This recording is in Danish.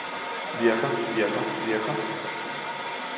virker virker virker